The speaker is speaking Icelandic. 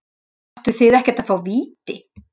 Áttu þið ekkert að fá víti?